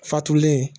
Fatulen